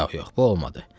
Yox, yox, bu olmadı.